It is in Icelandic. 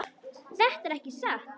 Þetta er ekki satt!